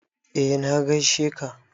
Eh na gaishe ka